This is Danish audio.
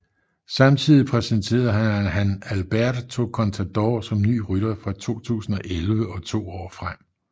Samtidig præsenterede han Alberto Contador som ny rytter fra 2011 og to år frem